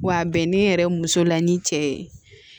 Wa bɛnnen yɛrɛ muso la ni cɛ ye